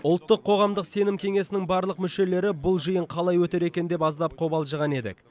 ұлттық қоғамдық сенім кеңесінің барлық мүшелері бұл жиын қалай өтер екен деп аздап қобалжыған едік